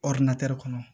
kɔnɔ